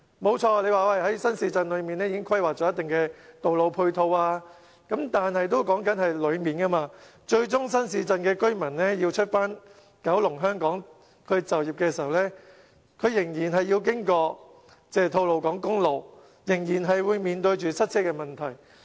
的確，在新市鎮裏面已經規劃了一定的道路配套，但這說的是區內配套，最終新市鎮的居民要到九龍、香港就業的時候，他們仍然要經吐露港公路，仍然要面對塞車問題。